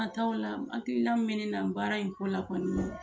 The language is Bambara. Ka ta ola, hakilila min bɛ ne la baara in ko la kɔni